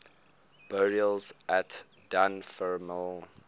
burials at dunfermline abbey